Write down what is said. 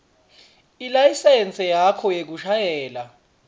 ilayisensi yakho yekushayela